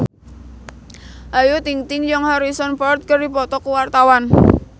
Ayu Ting-ting jeung Harrison Ford keur dipoto ku wartawan